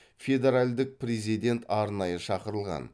федеральдік президент арнайы шақырылған